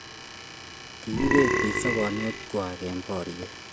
kiiboot biik sobonikwach eng' boriet